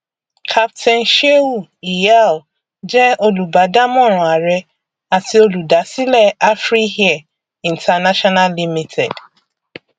capt sheu iyal jẹ olùbádámọràn àrẹ àti olùdásílẹ afriair international limited